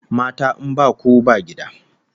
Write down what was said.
Mata in baku ba gida!